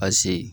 Pase